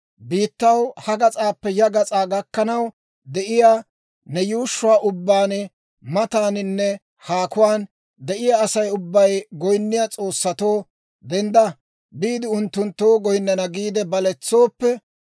biittaw ha gas'aappe ya gas'aa gakkanaw de'iyaa, ne yuushshuwaa ubbaan mataaninne haakuwaan de'iyaa Asay ubbay goyinniyaa s'oossatoo, ‹Dendda biide unttunttoo goyinnana› giide baletsooppe,